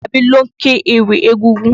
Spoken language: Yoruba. Asabi ló ń ké íwì egúngún.